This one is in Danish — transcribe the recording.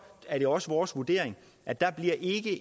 er det også vores vurdering at der ikke